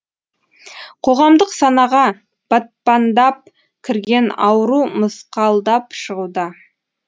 қоғамдық санаға батпандап кірген ауру мысқалдап шығуда